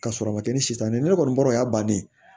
Ka sɔrɔ a ma kɛ ni sita ye ne kɔni bɔra o y'a bannen ye